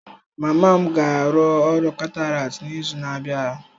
Mama m ga-arụ ọrụ cataract n'izu na-abịa.